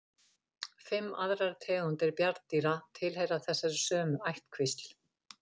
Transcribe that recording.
Fimm aðrar tegundir bjarndýra tilheyra þessari sömu ættkvísl.